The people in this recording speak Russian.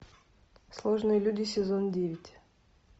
сложные люди сезон девять